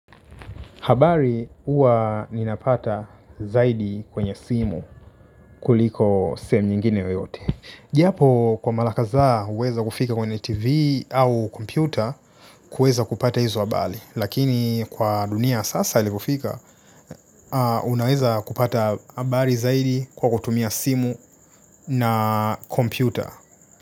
Habari huwa ninapata zaidi kwenye simu kuliko sehemu nyingine yoyote. Japo kwa mara kadhaa huweza kufika kwenye tv au kompyuta kuweza kupata hizo habari. Lakini kwa dunia ya sasa ilivyofika unaweza kupata habari zaidi kwa kutumia simu na kompyuta.